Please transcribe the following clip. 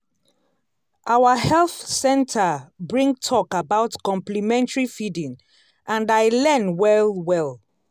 our health center bring talk about complementary feeding and i learn well well.